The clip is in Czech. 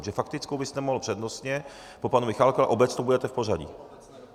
Protože faktickou byste mohl přednostně po panu Michálkovi a obecnou budete v pořadí.